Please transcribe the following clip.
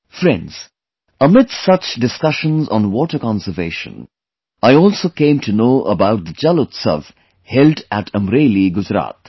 Friends, amidst such discussions on water conservation; I also came to know about the 'JalUtsav' held in Amreli, Gujarat